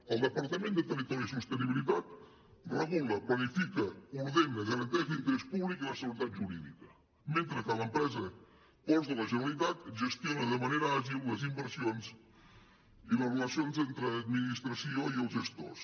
el departament de territori i sostenibilitat regula planifica ordena garanteix l’interès públic i la seguretat jurídica mentre que l’empresa ports de la generalitat gestiona de manera àgil les inversions i les relacions entre administració i els gestors